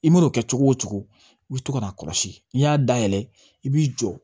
I man'o kɛ cogo o cogo i bɛ to ka n'a kɔlɔsi n'i y'a dayɛlɛ i b'i jɔ